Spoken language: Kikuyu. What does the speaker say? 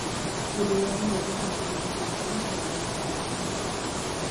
Kĩndũ gĩa gũthondeka matunda hĩndĩ na thutha wa gũthondeka